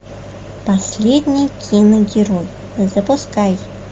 последний киногерой запускай